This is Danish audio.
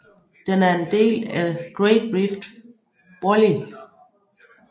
Den er en del af Great Rift Valley